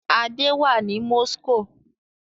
Adé wà ní Moscow.